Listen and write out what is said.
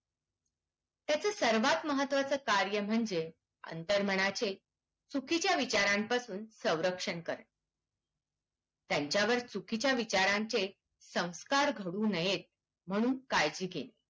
त्याचा सर्वात महत्वाचा कार्य म्हणजे अंतर्मनाचे चुकीच्या विचारापासून संरक्षण करणे त्यांच्यावर चुकीच्या विचारांचे संस्कार घडू नयेत म्हणून काळजी घेणे